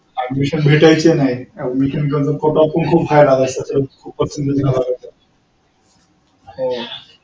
admission भेटायचे नाही. admission साठीचा कोठा पण खूप high लागायचा.